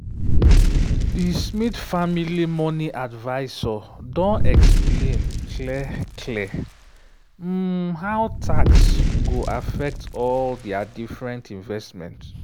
di smith family money advisor don explain clear-clear um how tax go affect all dia different investment.